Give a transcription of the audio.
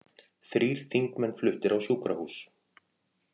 Þrír þingmenn fluttir á sjúkrahús